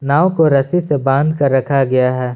नाव को रस्सी से बांध कर रखा गया है।